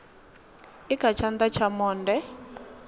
i kha tshana tsha monde